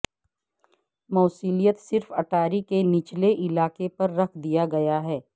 موصلیت صرف اٹاری کے نچلے علاقے پر رکھ دیا گیا ہے